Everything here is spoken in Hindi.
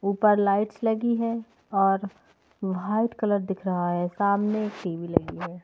ऊपर लाइट्स लगी है और वाइट कलर दिख रहा है सामने एक टी_वी लगी है।